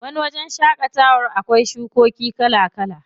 Wani wajen shaƙatawan akwai shukoki kala kala.